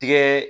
Tigɛ